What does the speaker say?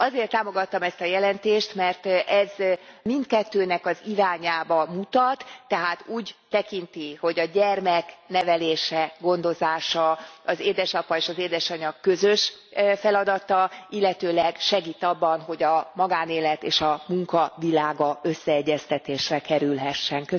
Azért támogattam ezt a jelentést, mert ez mindkettőnek az irányába mutat, tehát úgy tekinti, hogy a gyermek nevelése, gondozása az édesapa és az édesanya közös feladata, illetőleg segít abban, hogy a magánélet és a munka világa összeegyeztetésre kerülhessen.